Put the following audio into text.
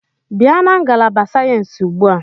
Bịa na ngalaba sayensị ugbu a!